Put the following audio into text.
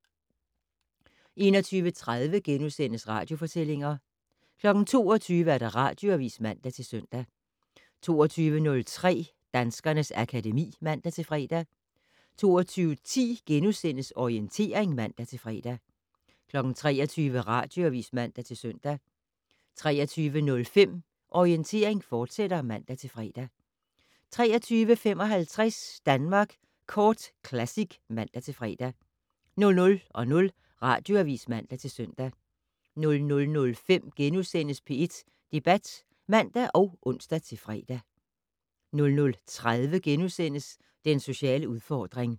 21:30: Radiofortællinger * 22:00: Radioavis (man-søn) 22:03: Danskernes akademi (man-fre) 22:10: Orientering *(man-fre) 23:00: Radioavis (man-søn) 23:05: Orientering, fortsat (man-fre) 23:55: Danmark Kort Classic (man-fre) 00:00: Radioavis (man-søn) 00:05: P1 Debat *(man og ons-fre) 00:30: Den sociale udfordring *